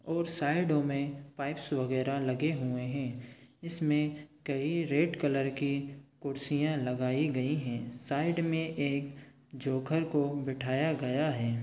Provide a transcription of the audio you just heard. और साइड ओ में पाइप्स वगैरह लगे हुए है इसमें कई रेड कलर के कुर्सियाँ लगाई गई है साइड में एक जोकर को बिठाया गया हैं।